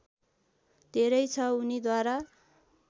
धेरै छ उनीद्वारा